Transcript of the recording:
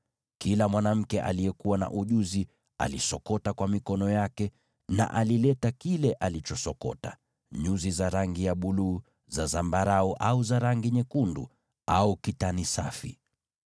Kila mwanamke aliyekuwa na ujuzi alisokota kwa mikono yake na alileta kile alichosokota, iwe ni nyuzi za rangi ya buluu, za zambarau, au za rangi nyekundu au kitani safi.